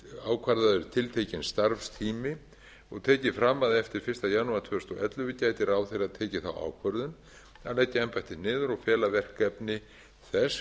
ákvarðaður tiltekinn starfstími og tek ég eða að eftir fyrsta janúar tvö þúsund og ellefu gæti ráðherra tekið þá ákvörðun að leggja embættið niður og fela verkefni þess